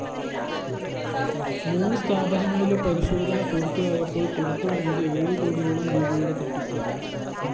മൂന്നു സ്ഥാപനങ്ങളിലെ പരിശോധന പൂര്‍ത്തിയായപ്പോള്‍ പുറത്തുവന്നത് ഏഴുകോടിയോളം രൂപയുടെ തട്ടിപ്പ്